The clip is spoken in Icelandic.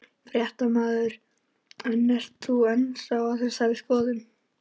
Fréttamaður: En ert þú ennþá á þessari skoðun?